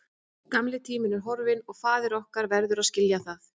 Gamli tíminn er horfinn og faðir okkar verður að skilja það.